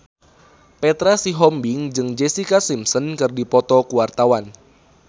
Petra Sihombing jeung Jessica Simpson keur dipoto ku wartawan